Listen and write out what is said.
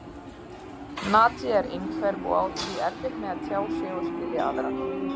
Nadia er einhverf og á því erfitt með að tjá sig og skilja aðra.